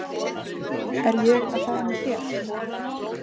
Er ég að fara með þér.